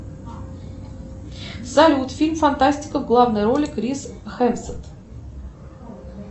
салют фильм фантастика в главной роли крис хемсворт